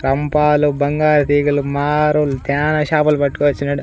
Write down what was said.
కంపాలు బంగారు తీగలు మారుల్ ధ్యాన చేపలు పట్టుకొచ్చినాడు.